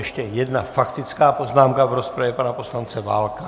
Ještě jedna faktická poznámka v rozpravě, pana poslance Válka.